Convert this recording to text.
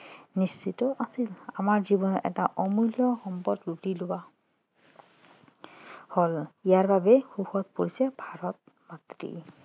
নিশ্চিত ভাবে আমাৰ জীৱনৰ এটা অমূল্য সম্পদ লুটি লোৱা হল ইয়াত বাবে শোকত পৰিছে ভাৰত মাতৃ